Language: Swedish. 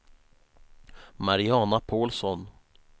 Mariana Pålsson